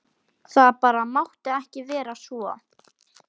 Það bara mátti ekki vera svo.